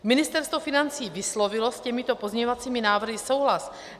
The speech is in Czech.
Ministerstvo financí vyslovilo s těmito pozměňovacími návrhy souhlas.